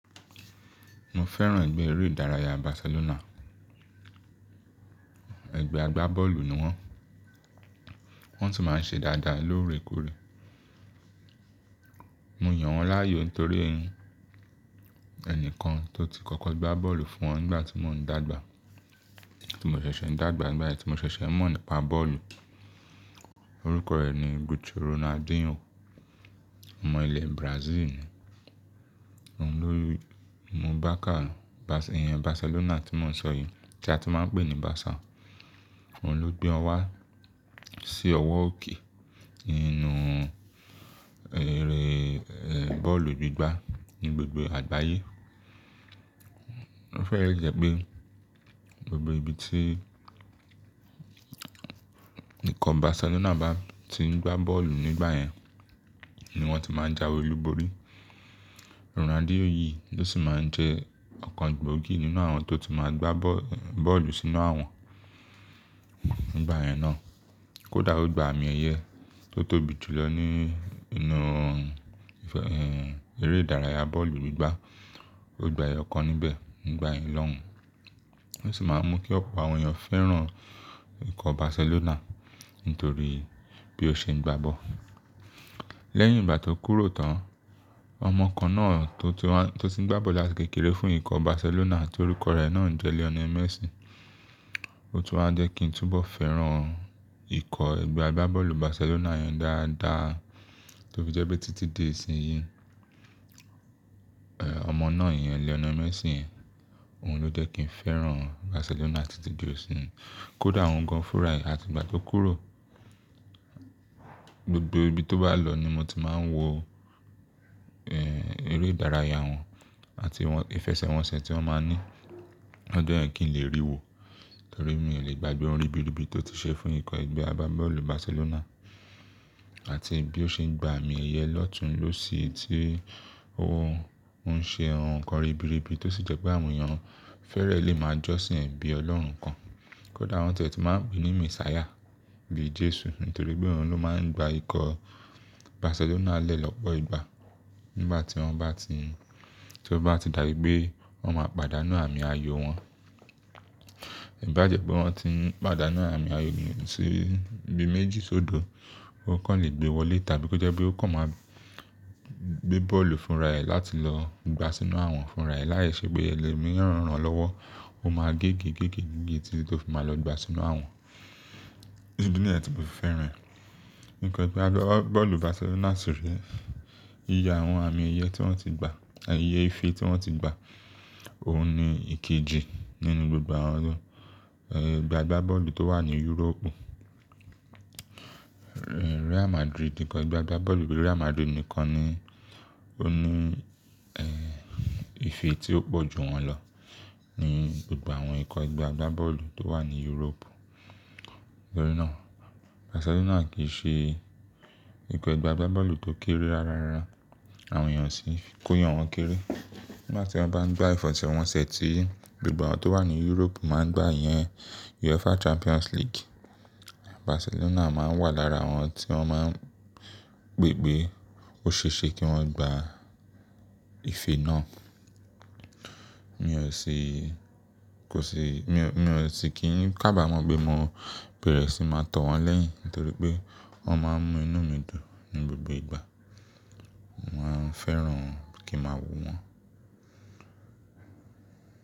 Mo fẹ́ràn ẹgbẹ́ eré ìdárayá Barcelona. Ẹgbẹ́ agbábọ́ọ̀lù ni wọ́n. Wọ́n tún máa ń ṣe dáadáa lóore kóre. Mo yàn wọ́n láàyò torí ẹnikan tó ti kọ́kọ́ gbá bọ́ọ̀lù fún wọn nígbà tí mo n dàgbà, tí mo ṣẹ̀ṣẹ̀ n dàgbà, nígbà yẹ́n tí mo ṣẹ̀ṣẹ̀ mọ̀ nípa bọ́ọ̀lù. Orúkọ rẹ̀ ni Gucho Ronaldinho. Ọmọ ilẹ̀ Brazil ni. Òun ló mú barcà, ẹ̀yàn Barcelona tí mò ń sọ yí, tí a ti máa ń pè ní Barca. Òun ló gbé wọn wá sí ọwọ́ òkè inú eré, ẹ́, bọ́ọ̀lù gbígbá ní gbogbo àgbáyé. Ó fẹ́ le jẹ́ pé gbogbo ibi tí ikọ̀ Barcelona bá ti ń gbá bọ́ọ̀lù nígbà yẹn ni wọ́n ti máa ń jáwé olúborí. Ronaldinho yìí ló sì máa ń jẹ ọ̀kan gbogi nínú àwọn tó ti máa gbá bọ́ọ̀lù sínú àwọ̀n nígbà yẹn naá. Kódà ó gba àmì ẹ̀yẹ tó tóbi jùlọ nínú, ẹ́, eré ìdárayá bọ́ọ̀lù gbígbá. Ó gba ẹyọ kan níbẹ̀ nígbà yẹn lọ́hun. Ó sì máa ń mú kí ọ̀pọ̀ àwọn èèyàn fẹ́ràn ikọ̀ Barcelona nítorí bí ó ṣe ń gbá bọ́ọ̀lù. Lẹ́yìn ìgbà tó kúrò tán, ọmọ kan náà tó ti n wá, tó ti ń gbá bọ́ọ̀lù làti kékeré fún ikọ̀ Barcelona tí orúkọ rẹ̀ náà jẹ́ Lionel Messi. Ó tún wá jẹ́ kí n túbọ̀ fẹ́ràn ikọ̀ ẹgbẹ́ agbábọ́ọ̀lù Barcelona yẹn dáadáa tí ó fi jẹ́ pé títí di ìsinyìí, ẹ́, ọmọ náà yẹn, Lionel Messi yen, òun ló jẹ́ kí n fẹ́ràn Barcelona títí di ìsinyìí. Kódà òun gan fún ra e àti ìgbà tó kúrò. Gbogbo ibi tó bá lọ ni mo ti máa ń wo, ẹ́, eré ìdárayá wọn àti ìfẹsẹ̀wọnsẹ̀ tí wọ́n máa ń ní. Ó jẹ́ yẹ́ kín lè rí wò torí mi ò lè gbàgbé ohun ribiribi tó ti ṣe fún ikọ̀ ẹgbẹ́ agbábọ́ọ̀lù Barcelona àti bí ó ṣe ń gba àmì ẹ̀yẹ lọ́tùn-ún ló sì ti ohun ṣe ohun kan ribiribi tó sì jẹ́ pé àwọn èèyàn fẹ́rẹ̀ lè máa jọ́sìn bí Ọlọ́run kan. Kódà wọ́n ti e tun máa ń pè ní Messiah, bí Jésù, nítorí pé òun ló máa ń gba ikọ̀ Barcelona lẹ́ lọ́pọ̀ ìgbà. Nígbà tí wọ́n bá ti, tí ó bá ti dàbí pé wọ́n máa pàdánù àmì ayo wọn. Ibajẹ́ pé wọ́n ti pàdánù àmì ayo sí ibi méjì sódo, ó kàn lè gbé wọlé tàbí ó jẹ́ pé ó kàn máa gbé bọ́ọ̀lù fúnra ẹ̀ láti lọ gbá sínú àwọn fúnra ẹ̀ lái ṣe pé ẹlòmíràn rán-an lọ́wọ́. Ó máa géegege títi to fi máa lọ gbá sínú àwọn. Idi ni yen tí mo fi feran e. Ikọ̀ ẹgbẹ́ agbábọ́ọ̀lù Barcelona sì iye àwọn àmì ẹ̀yẹ tí wọ́n ti gba, ẹyẹ ìfé tí wọ́n ti gba. Òun ni ìkejì nínú gbogbo àwọn, ẹ́, ẹgbẹ́ agbábọ́ọ̀lù tó wà ní Europe. Real Madrid, ikọ̀ ẹgbẹ́ agbábọ́ọ̀lù Real Madrid nìkan ni ó ní, ẹ́, ìfé tí ó pọ̀ ju wọn lọ ní gbogbo àwọn ikọ̀ ẹgbẹ́ agbábọ́ọ̀lù tó wà ní Europe. Torí náà Barcelona kì í ṣe ikọ̀ ẹgbẹ́ agbábọ́ọ̀lù tó kéré rárárá, àwọn èèyàn sì kó yan wọn kéré. Nígbà tí wọ́n bá ń gbá ìfẹsẹ̀wọnsẹ̀ tí gbogbo àwọn tó wà ní Europe máa ń gbà iyẹn, UEFA Champions League, Barcelona máa n wà lára àwọn tí wọ́n máa ń pe pe Ó ṣe é ṣe kí wọ́n gbá ìfé náà. Mi ò sì, kò sì, mi ò, mi ò sì kí n kaba mọ̀ pé mo bẹ̀rẹ̀ sí máa tọ̀ wọ́n lẹ́yìn nítorí pé wọ́n máa ń mú inú mi dùn ní gbogbo ìgbà. Maa n fẹ́ràn kí a máa wò wọ́n.